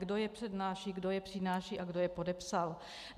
Kdo je přednáší, kdo je přináší a kdo je podepsal.